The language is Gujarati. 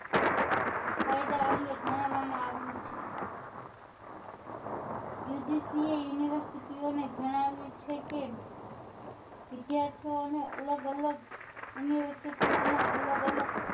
ફાયદા અંગે જણાવવા માં આવ્યું છે UGC એ university ઓ ને જણાવ્યું છે કે વિદ્યાર્થીઓ ને અલગ અલગ university ઓ માં અલગ અલગ